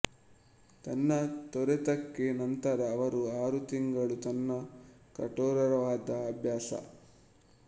ತನ್ನ ತೊರೆತಕ್ಕೆ ನಂತರ ಅವರು ಆರು ತಿಂಗಳು ತನ್ನ ಕಠೋರವಾದ ಅಭ್ಯಾಸ